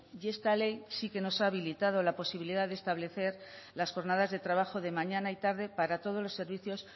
y esta ley sí que nos habilitado la posibilidad de establecer las jornadas de trabajo de mañana y tarde para todos los servicios